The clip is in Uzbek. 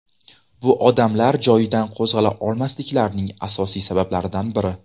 Bu odamlar joyidan qo‘zg‘ala olmasliklarining asosiy sabablaridan biri.